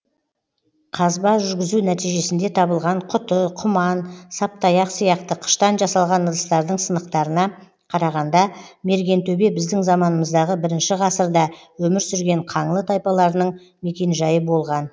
қазба жүргізу нәтижесінде табылған құты құман саптаяқ сияқты қыштан жасалған ыдыстардың сынықтарына қарағанда мергентөбе біздің заманымыздағы бірінші ғасырнда өмір сүрген қаңлы тайпаларының мекенжайы болған